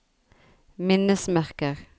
minnesmerker